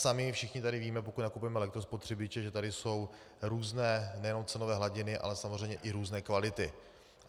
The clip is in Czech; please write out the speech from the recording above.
Sami všichni tady víme, pokud nakupujeme elektrospotřebiče, že tady jsou různé nejenom cenové hladiny, ale samozřejmě i různé kvality.